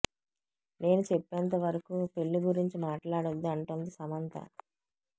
నేను చెప్పేంత వరకూ పెళ్లి గురించి మాట్లాడొద్దు అంటోంది సమంత